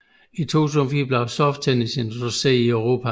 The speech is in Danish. I 2004 blev soft tennis introduceret i Europa